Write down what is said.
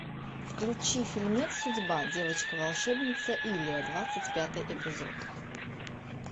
включи фильмец судьба девочка волшебница илия двадцать пятый эпизод